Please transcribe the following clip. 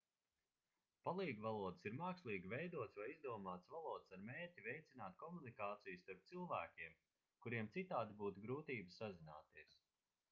palīgvalodas ir mākslīgi veidotas vai izdomātas valodas ar mērķi veicināt komunikāciju starp cilvēkiem kuriem citādi būtu grūtības sazināties